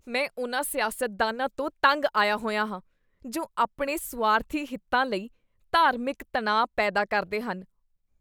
ਮੈਂ ਉਨ੍ਹਾਂ ਸਿਆਸਤਦਾਨਾਂ ਤੋਂ ਤੰਗ ਆਇਆ ਹੋਇਆ ਹਾਂ ਜੋ ਆਪਣੇ ਸੁਆਰਥੀ ਹਿੱਤਾਂ ਲਈ ਧਾਰਮਿਕ ਤਣਾਅ ਪੈਦਾ ਕਰਦੇ ਹਨ।